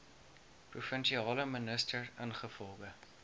provinsiale minister ingevolge